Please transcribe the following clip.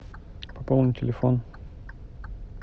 пополнить телефон